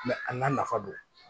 a n'a nafa don